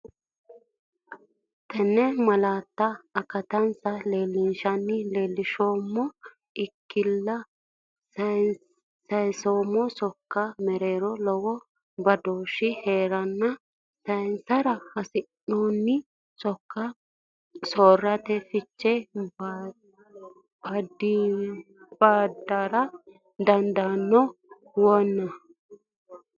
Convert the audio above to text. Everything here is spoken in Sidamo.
Tenne malaatta akattansa leellinshenna leellinshummo ikkinni sayinseemmo sokka mereero lowo badooshshi hee’ranna sayinsara hasi’noonni sok soorraranna fiche badara dandaanno, wanno’ne?